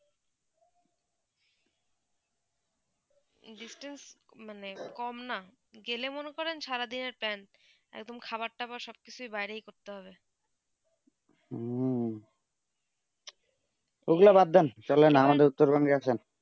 distance মানে কম না গেলে মনে করেন সারা দিনে পেন্ট এবং খাবার যাবার সব কিছু বাইরে করতে হবে হম ঐই গুলু বাদ দেন চলেন আমাদের উত্তর বংগো গেছেন